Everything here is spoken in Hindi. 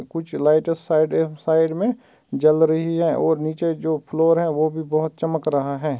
कुछ लाइट इस साइड अ साइड में जल रही है और नीचे जो फ्लोर है वह भी बहुत चमक रहा है।